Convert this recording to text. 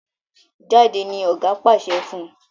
Jáde! ní oga pàṣẹ fún.